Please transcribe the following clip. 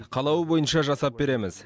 қалауы бойынша жасап береміз